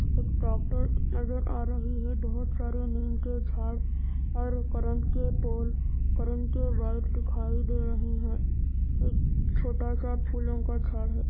एक ट्रैक्टर नज़र आ रही है बोहोत सारे नीम के झाड़ और उ करंट के पोल करंट के वायर दिखाई दे रहे है एक छोटा सा फूलो का झाड़ --